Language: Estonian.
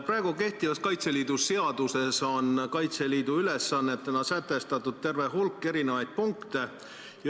Praegu kehtivas Kaitseliidu seaduses on Kaitseliidu ülesannetena sätestatud terve hulk erinevaid punkte.